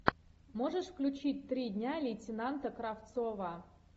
можешь включить три дня лейтенанта кравцова